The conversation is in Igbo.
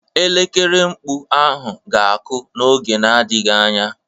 Elekere mkpu ahụ ga-akụ n'oge na-adịghị anya.